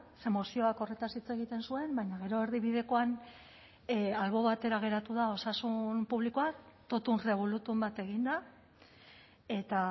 ze mozioak horretaz hitz egiten zuen baina gero erdibidekoan albo batera geratu da osasun publikoa totum revolutum bat egin da eta